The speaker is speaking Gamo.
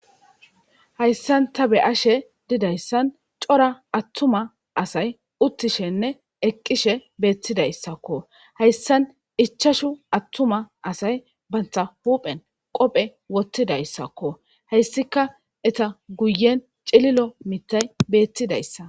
hayssan ta be ashe didayssan cora attuma asay uttishenne eqqishe beettidayssakko hayssan ichashu attuma asay bantha huphen qophe wottidayssakko heyssika eta guyen cililo mitay beettidayssa